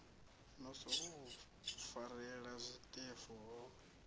no sokou farelela zwiṱefu ho